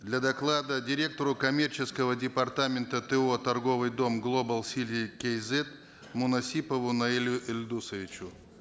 для доклада директору коммерческого департамента то торговый дом глобал сити кейзет мунасипову наилю эльдосовичу